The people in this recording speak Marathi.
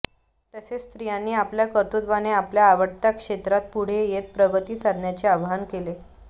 तसेच स्त्रियांनी आपल्या कर्तृत्वाने आपल्या आवडत्या क्षेत्रात पुढे येत प्रगती साधण्याचे आवाहन केले